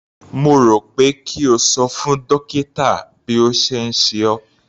Mo rò pé kí o ṣo fún dókítà bí ó ṣe ń ṣe ọ́.